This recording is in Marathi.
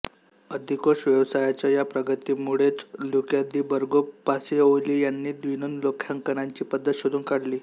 अधिकोष व्यवसायाच्या या प्रगतीमुळेच ल्यूका दी बर्गो पासिओली यांनी द्विनोंदी लेखांकनाची पद्धत शोधून काढली